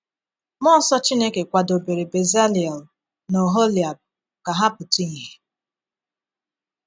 Mmụọ nsọ Chineke kwadobere Bezaleel na Oholiab ka ha pụta ìhè.